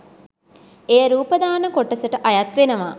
එය රූපදාන කොටසට අයත් වෙනවා.